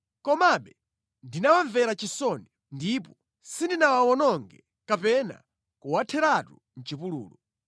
Komabe ndinawamvera chisoni ndipo sindinawawononge kapena kuwatheratu mʼchipululu.